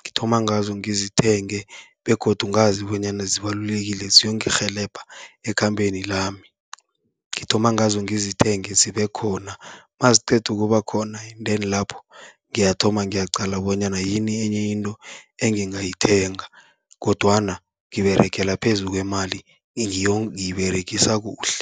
Ngithoma ngazo ngizithenge begodu ngazi bonyana zibalulekile, ziyongirhelebha ekhambeni lami. Ngithoma ngazo ngizithenge zibe khona, naziqeda ukuba khona endeni lapho ngiyathoma ngiyaqala bonyana yini enye into engingayithenga, kodwana ngiberegela phezu kwemali ngiyiberegisa kuhle.